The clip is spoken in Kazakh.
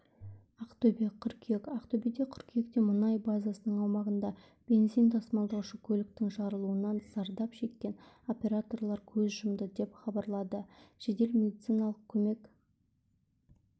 ақтөбе қыркүйек ақтөбеде қыркүйекте мұнай базасының аумағында бензин тасымалдаушы көліктің жарылуынан зардап шеккен операторлар көз жұмды деп хабарлады жедел медициналық көмек